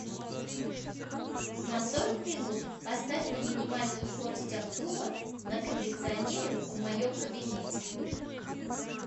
на сорок минут поставь на минимальную скорость обдува на кондиционере в моем кабинете